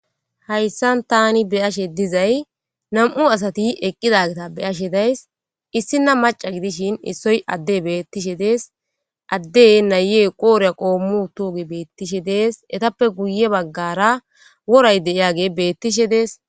hayssan tani beyashe dizay nam7u asati eqqidagata beashe daysi issina macca gidishin issoy adde beettishe deesi addey nayee qooriya qoommi uttoge beettishe dees etappe guye baggara woray deiyage beettishe deesi.